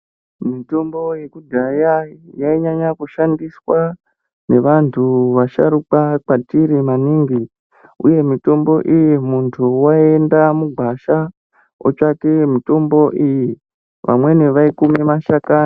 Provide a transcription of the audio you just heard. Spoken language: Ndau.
Mitombo yekudhaya yainyanya kushandiswa ngevantu vasharukwa kwatirimaningi uye mitombo iyi munthu waienda mugwasha kotsvaka mitombo iyi vamweni vaikuma mashakani.